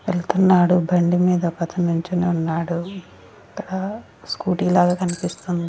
వెళ్తున్నాడు బండి మీద ఒక అతను నిలుచొని ఉన్నాడు హ స్కూటీ లాగా కనిపిస్తుంది.